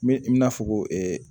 Me me n'a fɔ ko